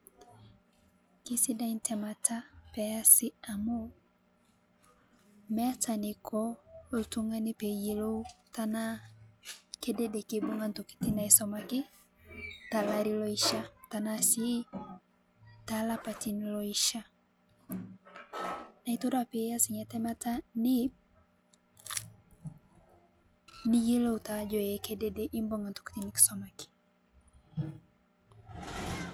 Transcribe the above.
Kesidai ntaamata pee easi amu meeta neikoo oltung'ana pee iyeloo tana kedede keibung'aa ntokitin naisomaaki ta laarin loishaa tana sii ta laapatin loishaa. Naa itodua pii aas enia tamaata niim niyelouu taa ajoo ee kedede ibung'aa ntokitin niisomaaki.